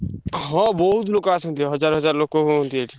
ହଁ ବହୁତ୍ ନୋକ ଆସନ୍ତି ହଜାର ହଜାର ଲୋକ ହୁଅନ୍ତି ଏଠି।